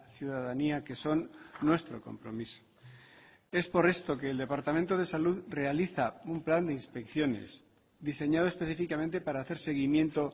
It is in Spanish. ciudadanía que son nuestro compromiso es por esto que el departamento de salud realiza un plan de inspecciones diseñado específicamente para hacer seguimiento